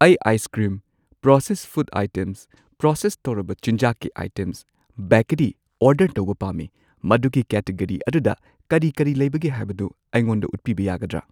ꯑꯩ ice cream, process food items, process ꯇꯧꯔꯕ ꯆꯤꯟꯖꯥꯛꯀꯤ ꯑꯥꯏꯇꯦꯝꯁ, ꯕꯦꯀꯔꯤ ꯑꯣꯔꯗꯔ ꯇꯧꯕ ꯄꯥꯝꯃꯤ, ꯃꯗꯨꯒꯤ ꯀꯦꯇꯦꯒꯔꯤ ꯑꯗꯨꯗ ꯀꯔꯤ ꯀꯔꯤ ꯂꯩꯕꯒꯦ ꯍꯥꯏꯕꯗꯨ ꯑꯩꯉꯣꯟꯗ ꯎꯠꯄꯤꯕ ꯌꯥꯒꯗ꯭ꯔꯥ?